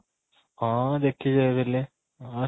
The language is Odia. ହଁ, ଦେଖି ଯାଇଥିଲି ଅଂ